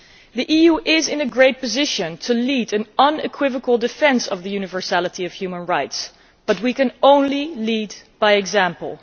The EU is in a great position to lead an unequivocal defence of the universality of human rights but we can only lead by example.